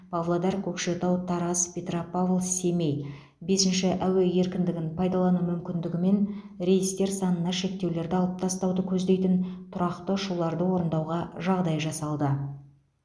павлодар көкшетау тараз петропавл семей бесінші әуе еркіндігін пайдалану мүмкіндігімен рейстер санына шектеулерді алып тастауды көздейтін тұрақты ұшуларды орындауға жағдай жасалды